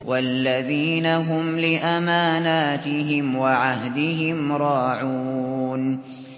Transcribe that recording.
وَالَّذِينَ هُمْ لِأَمَانَاتِهِمْ وَعَهْدِهِمْ رَاعُونَ